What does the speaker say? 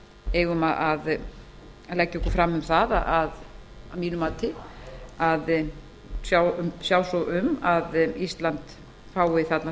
eigum því að mínu mati að leggja okkur fram við að sjá svo um að ísland fái þarna